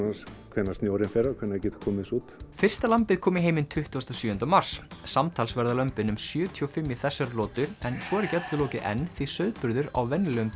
hvenær snjórinn fer og hvenær við getum komið þessu út fyrsta lambið kom í heiminn tuttugasta og sjöunda mars samtals verða lömbin um sjötíu og fimm í þessari lotu en svo er ekki öllu lokið enn því sauðburður á venjulegum